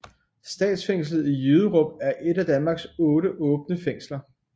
Statsfængslet i Jyderup er et af Danmarks 8 åbne fængsler